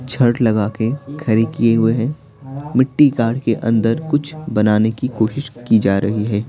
छड़ लगा के खड़ी किए हुए हैं मिट्टी काढ़ के अंदर कुछ बनाने की कोशिश की जा रही है।